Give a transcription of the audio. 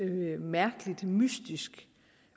mærkeligt mystisk